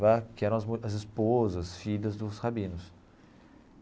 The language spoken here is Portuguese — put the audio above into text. Lá que eram as as esposas, filhas dos Rabinos.